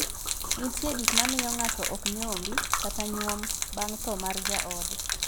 Nitie gik mamiyo ng'ato ok nyombi kata nyuom bang' thoo mar jaode.